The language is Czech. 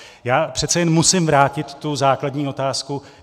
Já přece jen musím vrátit tu základní otázku.